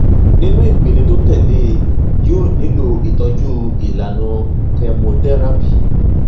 nínú ìpele tó tẹlé e yóò nílò ìtọjú ìlànà chemotherapy